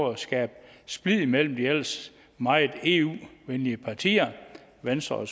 at skabe splid imellem de ellers meget eu venlige partier venstre og